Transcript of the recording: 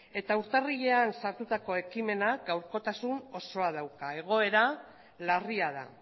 urtarrilean sartutako ekimenak gaurkotasun osoa dauka egoera larria da